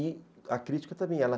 E a crítica também, ela